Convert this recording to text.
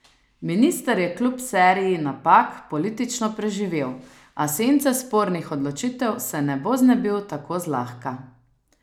Minister je kljub seriji napak politično preživel, a sence spornih odločitev se ne bo znebil tako zlahka.